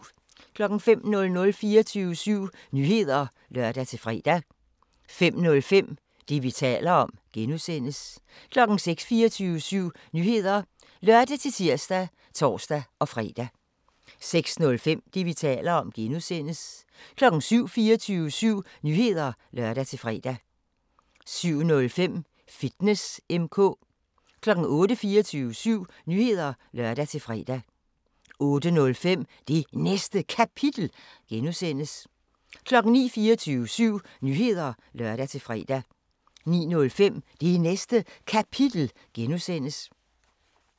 05:00: 24syv Nyheder (lør-fre) 05:05: Det, vi taler om (G) 06:00: 24syv Nyheder (lør-tir og tor-fre) 06:05: Det, vi taler om (G) 07:00: 24syv Nyheder (lør-fre) 07:05: Fitness M/K 08:00: 24syv Nyheder (lør-fre) 08:05: Det Næste Kapitel (G) 09:00: 24syv Nyheder (lør-fre) 09:05: Det Næste Kapitel (G)